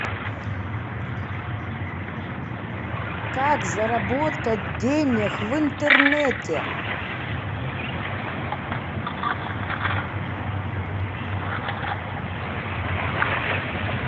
как заработать денег в интернете